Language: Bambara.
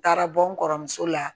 Taara bɔ n kɔrɔmuso la